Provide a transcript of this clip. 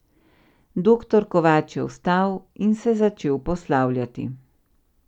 Doktor Kovač je vstal in se začel poslavljati.